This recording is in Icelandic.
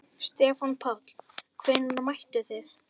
Stefán Páll: Hvenær mættuð þið?